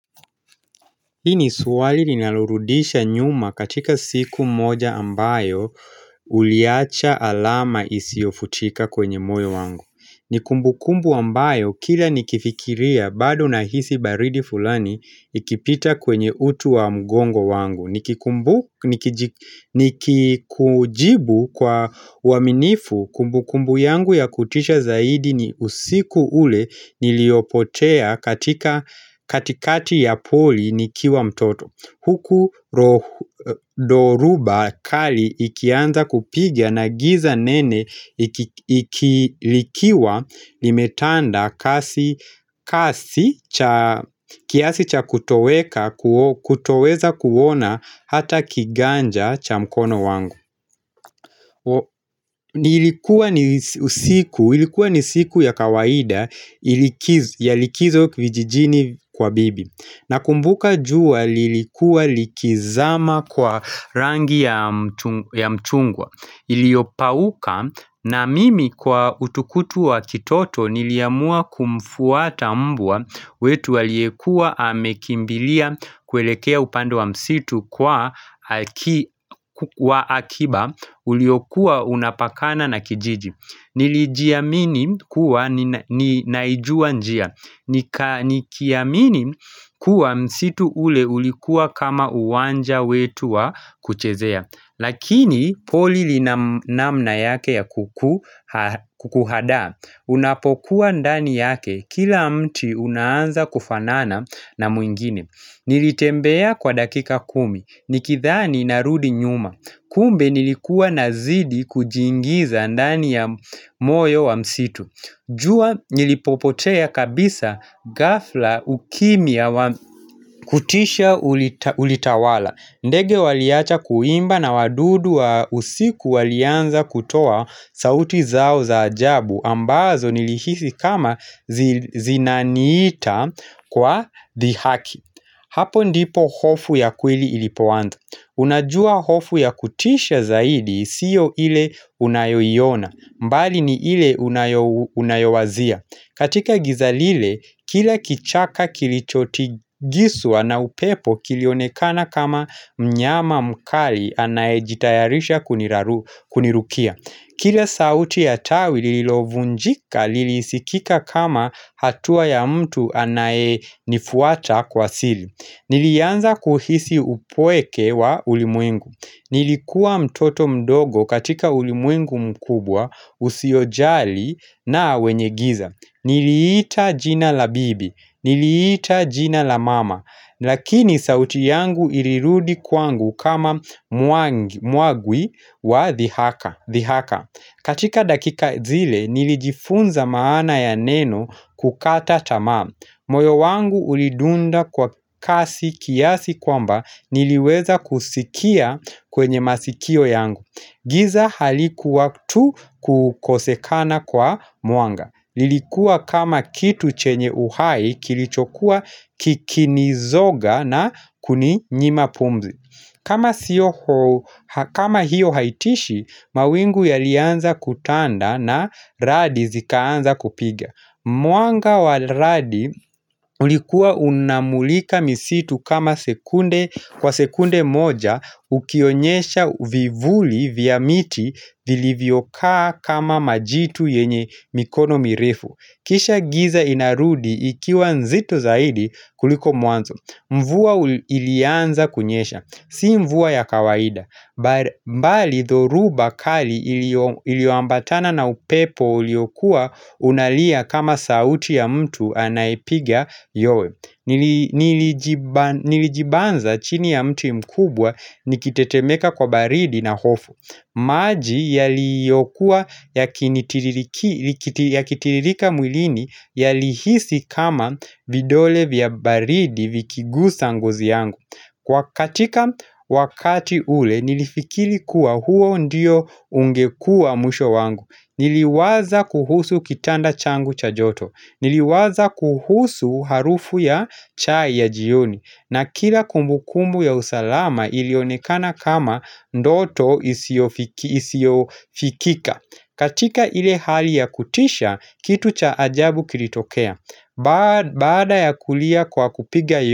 Hii swali ninarudisha nyuma katika siku moja ambayo uliacha alama isiofutika kwenye moyo wangu. Nikumbukumbu ambayo kila nikifikiria bado na hisi baridi fulani ikipita kwenye uti wa mgongo wangu Nikikujibu kwa uaminifu kumbukumbu yangu ya kutisha zaidi ni usiku ule niliopotea katika katikati ya poli nikiwa mtoto huku doruba kali ikianza kupigia na giza nene Ikilikiwa limetanda kiasi cha kutoweza kuona hata kiganja cha mkono wangu Nilikuwa ni siku ilikuwa ni siku ya kawaida Yalikizo kivijijini kwa bibi. Nakumbuka jua lilikuwa likizama kwa rangi ya mchungwa Iliopauka na mimi kwa utukutu wa kitoto niliamua kumfuata mbwa wetu waliekua amekimbilia kwelekea upando wa msitu kwa wa akiba Uliokua unapakana na kijiji. Nilijiamini kuwa ni naijua njia ni kiamini kuwa msitu ule ulikuwa kama uwanja wetu wa kuchezea. Lakini pori lina namna yake ya kukuaada Unapokuwa ndani yake, kila mti unaanza kufanana na mwingine. Nilitembea kwa dakika kumi, nikidhani narudi nyuma kumbe nilikuwa nazidi kujingiza ndani ya moyo wa msitu jua nilipopotea kabisa ghafla ukimya wa kutisha ulitawala. Ndege waliacha kuimba na wadudu wa usiku walianza kutoa sauti zao za ajabu ambazo nilihisi kama zinaniita kwa dhiaki. Hapo ndipo hofu ya kwili ilipowanda. Unajua hofu ya kutisha zaidi siyo ile unayoina. Mbali ni ile unayowazia. Katika giza lile, kila kichaka kilichotigizwa na upepo kilionekana kama mnyama mkali anaye jitayarisha kunirukia. Kila sauti ya tawi lililovunjika lilisikika kama hatua ya mtu anaenifuata kwa sili. Nilianza kuhisi upweke wa ulimwengu. Nilikuwa mtoto mdogo katika ulimwengu mkubwa usiojali na wenye giza. Niliita jina la bibi, niliita jina la mama, lakini sauti yangu ilirudi kwangu kama muagwi wa dhihaka. Katika dakika zile, nilijifunza maana ya nenu kukata tamaa. Moyo wangu ulidunda kwa kasi kiasi kwamba niliweza kusikia kwenye masikio yangu. Giza halikuwa tu kukosekana kwa mwanga. Lilikuwa kama kitu chenye uhai kilichokuwa kikinizoga na kuninyima pumzi kama hiyo haitishi, mawingu yalianza kutanda na radi zikaanza kupiga Mwanga wa radi ulikuwa unamulika misitu kwa sekunde moja ukionyesha vivuli vya miti vilivyokaa kama majitu yenye mikono mirefu kisha giza inarudi ikiwa nzito zaidi kuliko mwanzo Mvua ilianza kunyesha. Si mvua ya kawaida mbali thoruba kali iliwambatana na upepo uliokua Unalia kama sauti ya mtu anaipiga yowe Nilijibanza chini ya mtu mkubwa nikitetemeka kwa baridi na hofu maji yaliyokuwa yakinitiririka mwilini yalihisi kama vidole vya baridi vikigusa nguzi yangu Kwa katika wakati ule nilifikiri kuwa huo ndiyo ungekua mwisho wangu. Niliwaza kuhusu kitanda changu cha joto. Niliwaza kuhusu harufu ya chai ya jioni. Na kila kumbukumbu ya usalama ilionekana kama ndoto isiofikika. Katika ile hali ya kutisha, kitu cha ajabu kilitokea. Baada ya kulia kwa kupiga yo.